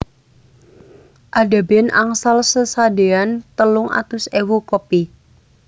Ada band angsal sesadean telung atus ewu kopi